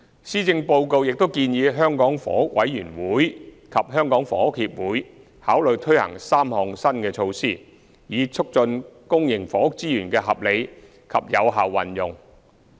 施政報告亦建議香港房屋委員會及香港房屋協會考慮推行3項新措施，以促進公營房屋資源的合理及有效運用。